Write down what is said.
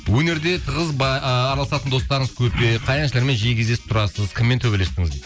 өнерде араласатын достырыңыз көп пе қай әншілермен жиі кездесіп тұрасыз кіммен төбелестіңіз дейді